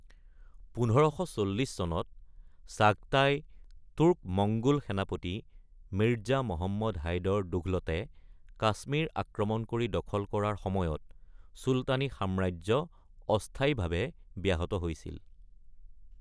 ১৫৪০ চনত চাগটাই তুৰ্ক-মঙ্গোল সেনাপতি মিৰ্জা মহম্মদ হাইদৰ দুঘলতে কাশ্মীৰ আক্ৰমণ কৰি দখল কৰাৰ সময়ত চুলতানী সাম্ৰাজ্য অস্থায়ীভাৱে ব্যাহত হৈছিল।